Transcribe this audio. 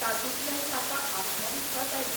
तातूंतल्यान ताका आत्मविस्वास आयलो.